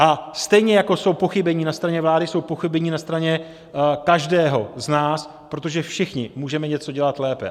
A stejně jako jsou pochybení na straně vlády, jsou pochybení na straně každého z nás, protože všichni můžeme něco dělat lépe.